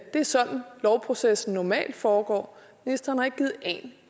er sådan lovprocessen normalt foregår ministeren har ikke givet en